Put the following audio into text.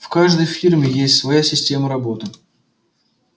в каждой фирме есть своя система работы